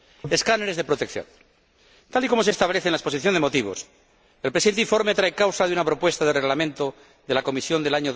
Escáneres de protección tal y como se establece en la exposición de motivos, el presente informe trae causa de una propuesta de Reglamento de la Comisión de